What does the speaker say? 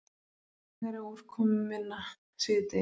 Hægari og úrkomuminna síðdegis